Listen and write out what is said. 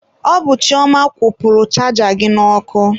Ọ bụ Chioma kwụpurụ chaja gị n'ọkụ.